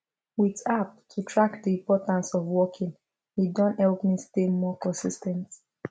with app to track the importance of walking e don help me stay more consis ten t